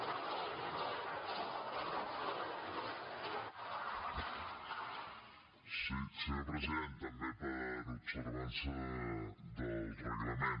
sí senyor president també per observança del reglament